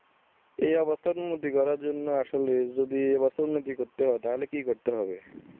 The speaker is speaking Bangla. এ অবস্থার উন্নতি করার জন্য আসলে যদি এ অবস্থার উন্নতি করতে হয় তাহলে কি করতে হবে